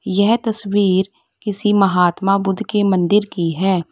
यह तस्वीर किसी महात्मा बुद्ध के मंदिर की है।